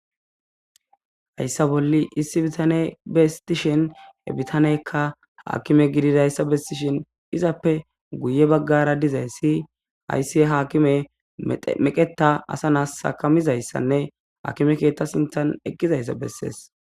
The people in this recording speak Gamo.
Hayssa bolli issi bitaney beessi dishin he bitaneykka aakime gidizayssa bessishin izappe guye baggara dizayssi hayssi haakimey meqetta asa na'as akkamizayssanne akime keeththa sinththan eqqidayssa besses.